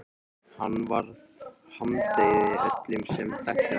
Hann varð harmdauði öllum sem þekktu hann.